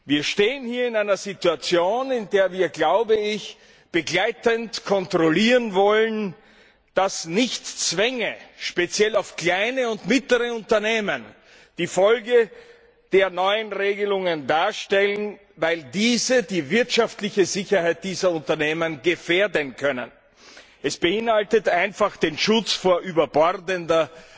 Wir stehen hier in einer Situation, in der wir, glaube ich, begleitend kontrollieren wollen, dass nicht Zwänge, speziell für kleine und mittlere Unternehmen, die Folge der neuen Regelungen darstellen, weil diese die wirtschaftliche Sicherheit dieser Unternehmen gefährden können. Es beinhaltet einfach den Schutz vor überbordender